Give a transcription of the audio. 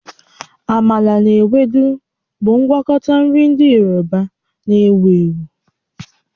Amala na Ewedu bụ ngwakọta nri ndị Yoruba na-ewu ewu